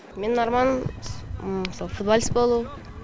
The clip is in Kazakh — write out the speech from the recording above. менің арманым мысалы футболист болу